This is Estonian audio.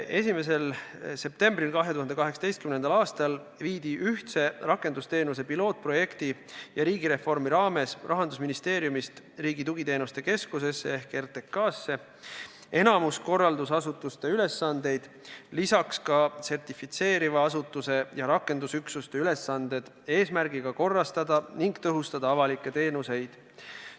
1. septembril 2018. aastal viidi ühtse rakendusteenuste pilootprojekti ja riigireformi raames Rahandusministeeriumist Riigi Tugiteenuste Keskusesse ehk RTK-sse üle enamik korraldusasutuste ülesandeid, lisaks sertifitseeriva asutuse ja rakendusüksuste ülesanded, et korrastada ning tõhustada avalikke teenuseid.